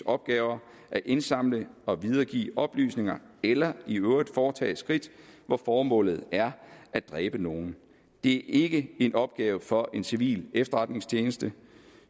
opgaver at indsamle og videregive oplysninger eller i øvrigt foretage skridt hvor formålet er at dræbe nogen det ikke en opgave for en civil efterretningstjeneste